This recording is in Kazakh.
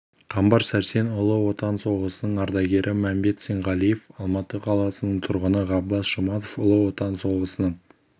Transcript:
қамбар сәрсен ұлы отан соғысының ардагері мәмбет сенғалиев алматы қаласының тұрғыны ғаббас жұматов ұлы отан соғысының